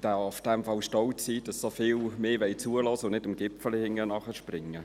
darf in dem Fall stolz sein, dass mir so viele zuhören wollen und nicht dem Gipfeli nachrennen.